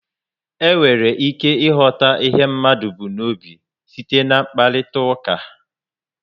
E nwere ike ighọta ihe mmadụ bu n'obi site na mkparitauka